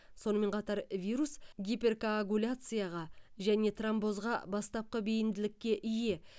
сонымен қатар вирус гиперкоагуляцияға және тромбозға бастапқы бейімділікке ие